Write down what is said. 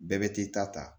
Bɛɛ bɛ t'i ta ta